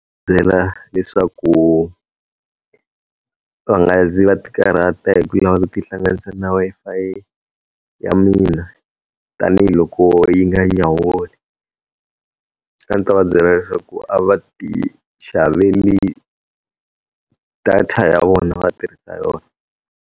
Byela leswaku va nga zi va ti karhata hi ku lava ku ti hlanganisa na Wi-Fi ya mina, tanihiloko yi nga nyawuli. A ndzi ta va byela leswaku a va ti xaveli data ya vona va tirhisa yona.